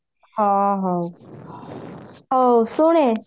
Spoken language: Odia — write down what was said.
ହଁ ହଉ ହଉ ଶୁଣୁ